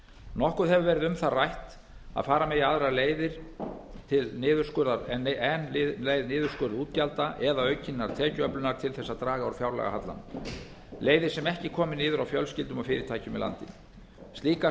nokkur hefur verið um það rætt að fara megi aðrar leiðir en leið niðurskurðar útgjalda eða aukinnar tekjuöflunar til þess að draga úr fjárlagahallanum leiðir sem ekki komi niður á fjölskyldum og fyrirtækjum í landinu slíkar